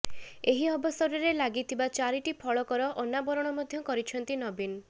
ଏହି ଅବସରରେ ଲାଗିଥିବା ଚାରିଟି ଫଳକର ଅନାବରଣ ମଧ୍ୟ କରିଛନ୍ତିି ନବୀନ